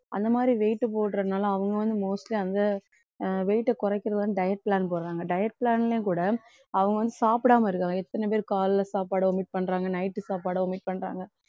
அந்த மாதிரி weight போடுறதுனால அவங்க வந்து mostly அந்த அஹ் weight அ குறைக்கிறது வந்து diet plan போடுறாங்க diet plan லயும் கூட அவங்க வந்து சாப்பிடாம இருக்காங்க எத்தனை பேர் காலையில சாப்பாடு omit பண்றாங்க night சாப்பாடு omit பண்றாங்க.